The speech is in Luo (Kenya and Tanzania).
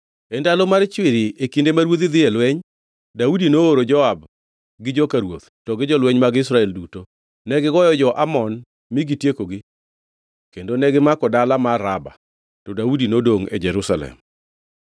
E ndalo mar chwiri, e kinde ma ruodhi dhi e lweny, Daudi nooro Joab gi joka ruoth to gi jolweny mag Israel duto. Negigoyo jo-Amon mi gitiekogi kendo negimako dala mar Raba. To Daudi nodongʼ e Jerusalem.